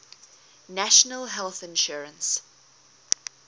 national health insurance